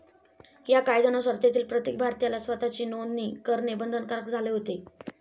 या कायद्यानुसार तेथील प्रत्येक भारतीयाला स्वताची नोदणी करणे बंधनकारक झाले होते.